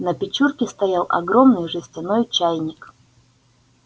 на печурке стоял огромный жестяной чайник